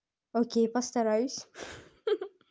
окей постараюсь